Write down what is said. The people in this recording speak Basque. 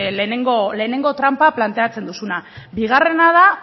lehenengo tranpa planteatzen duzuna bigarrena da